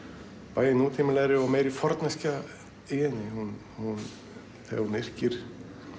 bæði nútímalegri og meiri forneskja í henni þegar hún yrkir